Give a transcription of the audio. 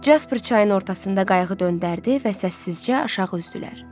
Casper çayın ortasında qayığı döndərdi və səssizcə aşağı üzdülər.